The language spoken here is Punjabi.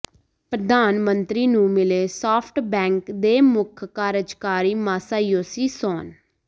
ਪ੍ਰਧਾਨ ਮੰਤਰੀ ਨੂੰ ਮਿਲੇ ਸਾਫਟਬੈਂਕ ਦੇ ਮੁੱਖ ਕਾਰਜਕਾਰੀ ਮਾਸਾਯੋਸ਼ੀ ਸੋਨ